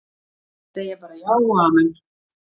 Segja bara já og amen.